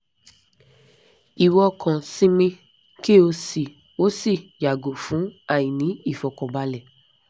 iwo kan sinmi ki o si o si yago fun aini ifokanbale